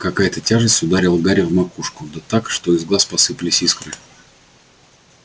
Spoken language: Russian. какая-то тяжесть ударила гарри в макушку да так что из глаз посыпались искры